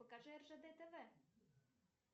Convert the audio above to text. покажи ржд тв